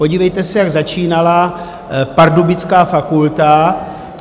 Podívejte se, jak začínala pardubická fakulta.